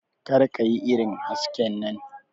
Kar ka yi irin hasken nan.